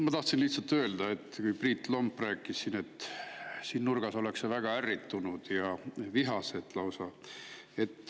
Ma tahtsin lihtsalt öelda, et Priit Lomp rääkis, et siin nurgas ollakse väga ärritunud ja lausa vihased.